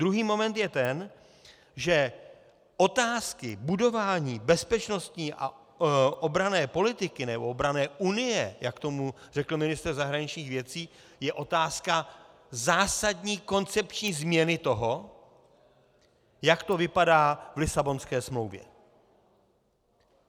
Druhý moment je ten, že otázky budování bezpečnostní a obranné politiky, nebo obranné unie, jak tomu řekl ministr zahraničních věcí, je otázka zásadní koncepční změny toho, jak to vypadá v Lisabonské smlouvě.